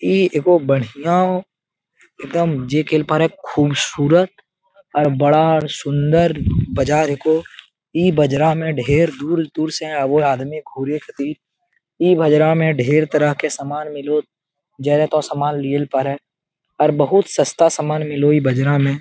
इ ऐगो बढ़िया एकदम जे केल पारे खूबसूरत और बड़ा सुंदर बाजार हीको इ बाजार मे ढेर दूर-दूर से आवो हेय आदमी घूरे खतिर इ बजरा मे ढेर तरह के समान मिलो तो सामान लियल परे और बहुत सस्ता सामान मिलो हेय इ बजरा में।